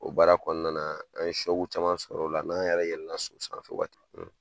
O baara kɔnɔna na an ye caman sɔr'o la, n'an yɛrɛ yɛlɛ so san waati min na.